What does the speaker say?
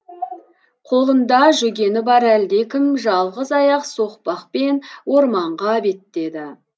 қолында жүгені бар әлдекім жалғыз аяқ соқпақпен орманға беттеді